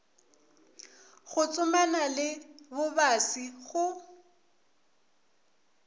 go tsomana le bobasi go